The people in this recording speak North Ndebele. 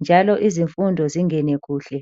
njalo kuyayenza izifundo zingene kuhle.